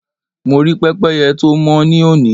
Mo rí pẹ́pẹ́yẹ tó mọ́ ní òní.